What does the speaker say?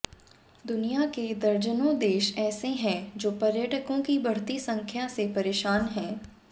दुनिया के दर्जनों देश ऐसे हैं जो पर्यटकों की बढ़ती संख्या से परेशान हैं